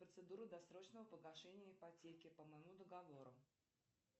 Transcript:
процедура досрочного погашения ипотеки по моему договору